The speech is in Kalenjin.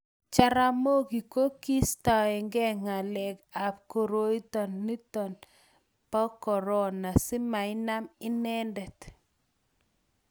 jaramogi ko kiistaeke ngalek ab koroito niton anb korona si mainam inenedet